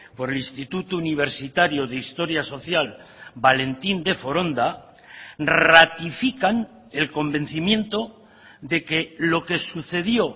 por el instituto universitario de historia social valentín de foronda ratifican el convencimiento de que lo que sucedió